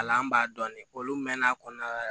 Ala an b'a dɔn de olu mɛn'a kɔnɔ